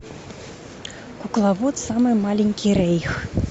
кукловод самый маленький рейх